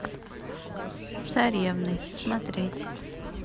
царевны смотреть